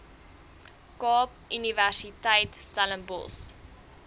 kaap universiteit stellenbosch